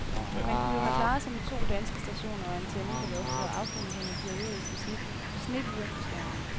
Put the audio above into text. Man kunne jo have klaret sig med de to danske stationer og antennen på loftet, og affundet sig med periodiske snebyger på skærmen.